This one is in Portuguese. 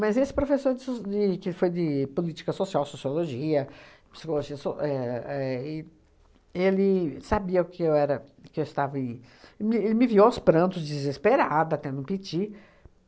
Mas esse professor de so, de que foi de Política Social, Sociologia, Psicologia So éh éh.. E ele sabia que era que eu estava em... E me e me viu me viu aos prantos, desesperada, tendo um piti